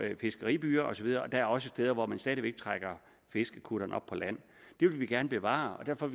fiskeribyer osv og der er også steder hvor man stadig væk trækker fiskerkutterne op på land det vil vi gerne bevare og derfor